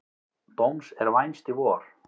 Dóms er vænst í vor.